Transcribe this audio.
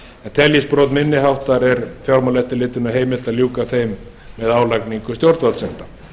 teljist brot minni háttar er fjármálaeftirlitinu heimilt að ljúka þeim með álagningu stjórnvaldssekta